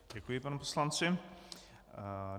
Děkuji panu poslanci.